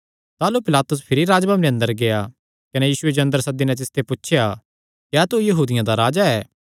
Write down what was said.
ताह़लू पिलातुस भिरी राज्जभवने अंदर गेआ कने यीशुये जो अंदर सद्दी नैं तिसते पुछया क्या तू यहूदियां दा राजा ऐ